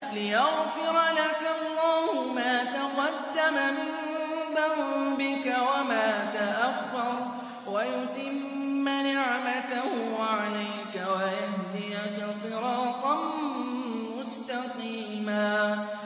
لِّيَغْفِرَ لَكَ اللَّهُ مَا تَقَدَّمَ مِن ذَنبِكَ وَمَا تَأَخَّرَ وَيُتِمَّ نِعْمَتَهُ عَلَيْكَ وَيَهْدِيَكَ صِرَاطًا مُّسْتَقِيمًا